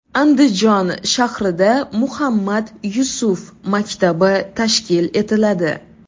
Andijon shahrida Muhammad Yusuf maktabi tashkil etiladi.